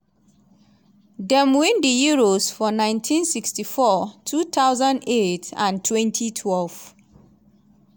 dem win di euros for 1964 2008 and 2012.